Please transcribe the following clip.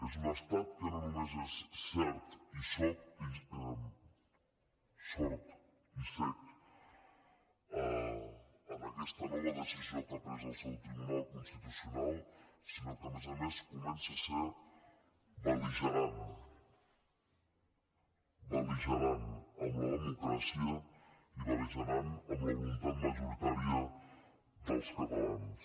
és un estat que no només és sord i cec en aquesta nova decisió que ha pres el seu tribunal constitucional sinó que a més a més comença a ser bel·ligerant belligerant amb la democràcia i beltat majoritària dels catalans